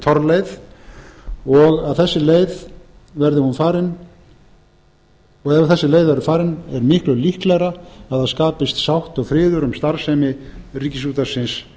hún er ekki torfarin þetta er ekki torleiði og ef þessi leið verður farin er miklu líklegra að það skapist sátt og friður um starfsemi ríkisútvarpsins